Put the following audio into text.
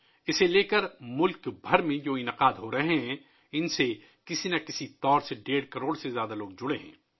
اس حوالے سے ملک بھر میں منعقد ہونے والی تقریبات سے کسی نہ کسی طرح ڈیڑھ کروڑ سے زیادہ لوگ وابستہ رہے ہیں